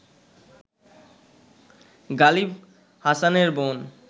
গালিব হাসানের বোন